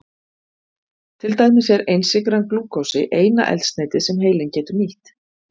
Til dæmis er einsykran glúkósi eina eldsneytið sem heilinn getur nýtt.